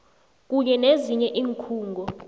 kunye nezinye iinkhungo